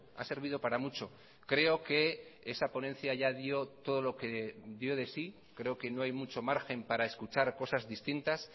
ha servido para mucho creo que esa ponencia ya dio todo lo que dio de sí creo que no hay mucho margen para escuchar cosas distintas